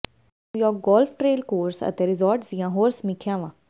New York golf trail course ਅਤੇ resorts ਦੀਆਂ ਹੋਰ ਸਮੀਖਿਆਵਾਂ